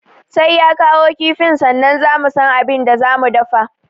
Sai ya kawo kifin sannan za mu san abin da za mu dafa